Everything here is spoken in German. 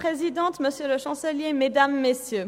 Kommissionssprecherin der SAK.